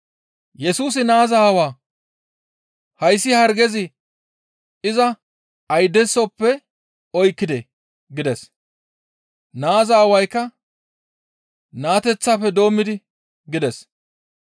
Yesusi naaza aawaa, «Hayssi hargey iza ayidesappe oykkidee?» gides. Naaza aawaykka, «Naateththafe doommidi» gides.